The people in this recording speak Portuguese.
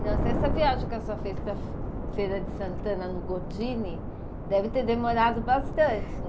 Nossa, essa viagem que a senhora fez para Feira de Santana, no Gordini, deve ter demorado bastante, não